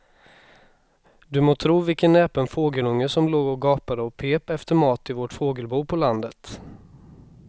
Du må tro vilken näpen fågelunge som låg och gapade och pep efter mat i vårt fågelbo på landet.